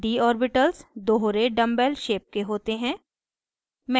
d orbitals दोहरे dumbbell shaped के होते हैं